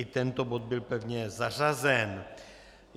I tento bod byl pevně zařazen.